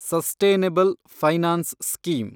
sustainable finance scheme